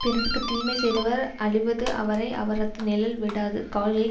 பிறர்க்கு தீமை செய்தவர் அழிவது அவரை அவரது நிழல் விடாது கால்கள்